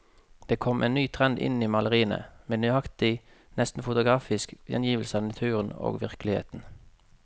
Det kom en ny trend inn i maleriene, med nøyaktig, nesten fotografisk gjengivelse av naturen og virkeligheten.